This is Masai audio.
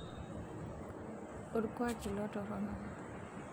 olkuak ilo torrono